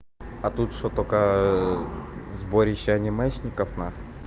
а тут что только сборище анимешников нахуй